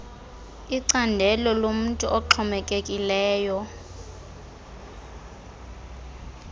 icandelo lomntu oxhomekekileyo